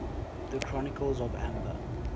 the chronicles of amber